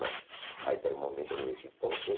Mas vai ter momentos que eu vou dizer por quê.